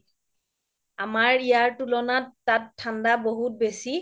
আমাৰ ইয়াৰ তুলনাত তাত ঠাণ্ডা বহুত বেছি